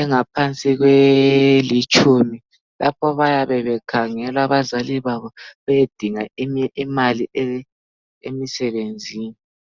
engaphansi kwelitshumi lapho abayabe bekhangela abazali babo beyedinga imali emsebenzini.